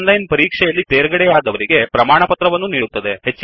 ಓನ್ಲೈನನ್ ಪರೀಕ್ಷೆ ಯಲ್ಲಿ ತೇರ್ಗಡೆಯಾದವರಿಗೆ ಪ್ರಮಾಣವನ್ನು ನೀಡುತ್ತದೆ